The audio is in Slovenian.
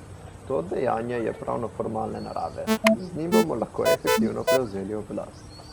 To dejanje je pravnoformalne narave, z njim bomo lahko efektivno prevzeli oblast.